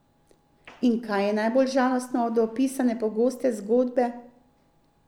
In kaj je najbolj žalostno od opisane pogoste zgodbe?